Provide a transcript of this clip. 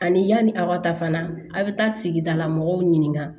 Ani yanni a ka taa fana a bɛ taa sigidala mɔgɔw ɲininka